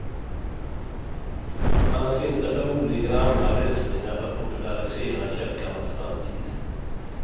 Annars finns det förmodligen andra lösningar för att poulärisera kälkarnas framtid.